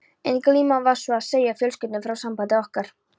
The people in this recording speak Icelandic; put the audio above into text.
Ein glíman var sú að segja fjölskyldunni frá sambandi okkar.